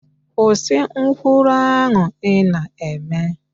Kwụsị nkwulu ahụ ị na-eme